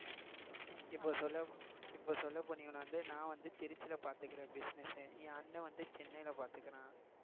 இப்ப சொல்ல ப்~ இப்ப சொல்லப் போனீங்கன்னா வந்து நான் வந்து திருச்சியில பார்த்துக்கிறேன் business என் அண்ணன் வந்து சென்னையில பார்த்துக்கிறான்